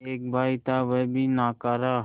एक भाई था वह भी नाकारा